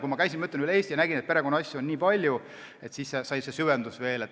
Kui ma käisin Eestis ringi ja nägin, et perekonnaasju on nii palju, siis see idee veel süvenes.